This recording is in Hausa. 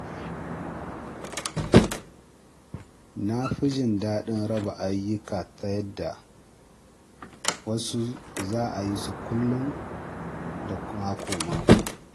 Na fi jin daɗin raba ayyuka ta yadda wasu za a yi kullum, da mako- mako.